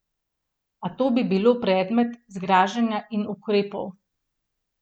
A to bi bilo predmet zgražanja in ukrepov.